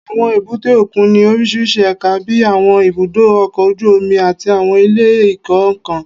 Àwọn èbúté òkun ní oríṣiríṣi ẹ̀ka bíi àwọn ibùdó ọkọ̀ ojú omi, àti àwọn ilé ìkó-nǹkan